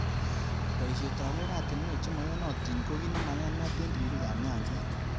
Bosihet ab oratunwek chemaiyonotin ko ki nemaiyanat eng ribik.ab nyanjet.